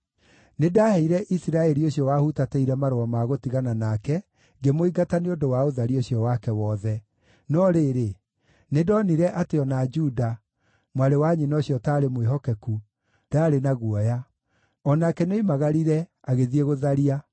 Nĩndaheire Isiraeli ũcio wahutatĩire marũa ma gũtigana nake, ngĩmũingata nĩ ũndũ wa ũtharia ũcio wake wothe. No rĩrĩ, nĩndonire atĩ o na Juda, mwarĩ wa nyina ũcio ũtaarĩ mwĩhokeku, ndaarĩ na guoya; o nake nĩoimagarire, agĩthiĩ gũtharia.